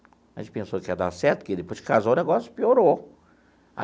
A gente pensou que ia dar certo, que depois que casou o negócio piorou.